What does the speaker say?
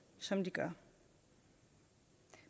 som de gør